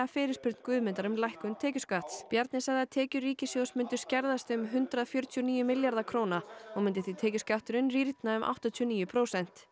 fyrirspurn Guðmundar um lækkun tekjuskatts Bjarni sagði að tekjur ríkissjóðs myndu skerðast um hundrað fjörutíu og níu milljarða króna og myndi því tekjuskatturinn rýrna um áttatíu og níu prósent